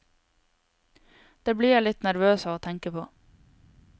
Det blir jeg litt nervøs av å tenke på.